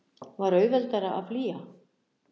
Var auðveldara að flýja?